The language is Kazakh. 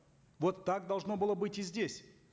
вот так должно было быть и здесь